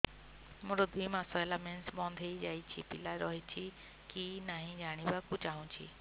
ମୋର ଦୁଇ ମାସ ହେଲା ମେନ୍ସ ବନ୍ଦ ହେଇ ଯାଇଛି ପିଲା ରହିଛି କି ନାହିଁ ଜାଣିବା କୁ ଚାହୁଁଛି